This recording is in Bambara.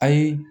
A ye